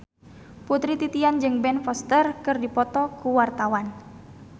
Putri Titian jeung Ben Foster keur dipoto ku wartawan